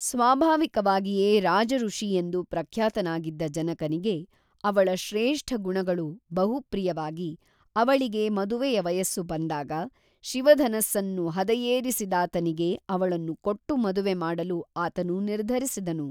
ಸ್ವಾಭಾವಿಕವಾಗಿಯೇ ರಾಜಋಷಿ ಎಂದು ಪ್ರಖ್ಯಾತನಾಗಿದ್ದ ಜನಕನಿಗೆ ಅವಳ ಶ್ರೇಷ್ಠ ಗುಣಗಳು ಬಹುಪ್ರಿಯವಾಗಿ ಅವಳಿಗೆ ಮದುವೆಯ ವಯಸ್ಸು ಬಂದಾಗ ಶಿವಧನುಸ್ಸನ್ನು ಹದೆಯೇರಿಸಿದಾತನಿಗೆ ಅವಳನ್ನು ಕೊಟ್ಟು ಮದುವೆ ಮಾಡಲು ಆತನು ನಿರ್ಧರಿಸಿದನು